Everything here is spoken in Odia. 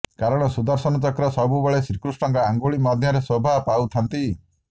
କାରଣ ସୁଦର୍ଶନ ଚକ୍ର ସବୁବେଳେ ଶ୍ରୀକୃଷ୍ଣଙ୍କ ଅଙ୍ଗୁଳି ମଧ୍ୟରେ ଶୋଭା ପାଉଥାନ୍ତି